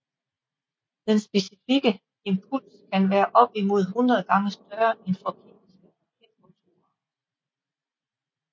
Den specifikke impuls kan være opimod hundrede gange større end for kemiske raketmotorer